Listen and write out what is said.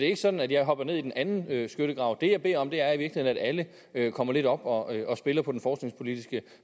ikke sådan at jeg hopper ned i den anden skyttegrav det jeg beder om er i virkeligheden at alle kommer lidt op og spiller på den forskningspolitiske